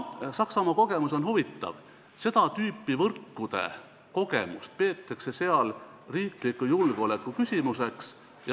Saksamaa kogemus on huvitav: seda tüüpi võrkude kogemust peetakse seal riikliku julgeoleku küsimuseks.